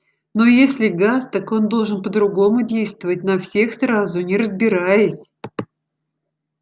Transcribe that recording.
но если газ так он должен по-другому действовать на всех сразу не разбираясь